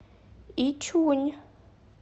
ичунь